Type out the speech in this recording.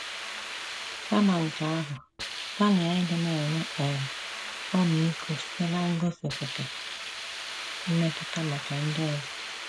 Kama nke ahụ, gbalịa ịdị na - enwe um ọmịiko site n’igosipụta “ mmetụta maka ndị ọzọ. ”